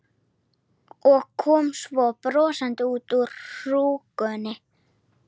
Og kom svo brosandi út úr hrúgunni.